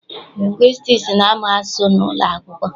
Lingwistiks na-amụ asụsụ n'ụlọakwụkwọ.